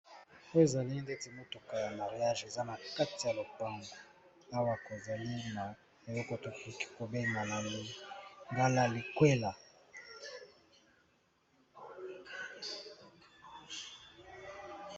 Oyo ezali neti mutuka ya mariage eza na kati ya lopango Awa tozali eloko bokoki kobenga na lingala likwela.